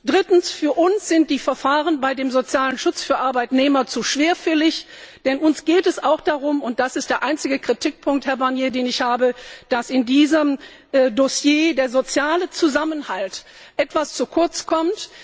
Drittens Für uns sind die Verfahren beim sozialen Schutz von Arbeitnehmern zu schwerfällig, denn uns geht es auch darum und das ist der einzige Kritikpunkt, Herr Barnier, den ich habe dass in diesem Dossier der soziale Zusammenhalt etwas zu kurz kommt.